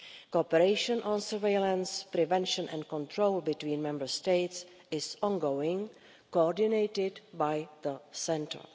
Cooperation on surveillance, prevention and control between Member States is ongoing, coordinated by the centre.